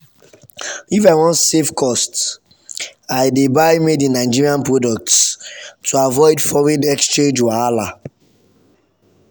if i wan save cost i dey dey buy made-in-nigeria products to avoid foreign exchange wahala.